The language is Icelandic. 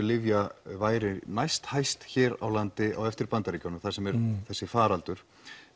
lyfja væri næst hæst hér á landi á eftir Bandaríkjunum þar sem er þessi faraldur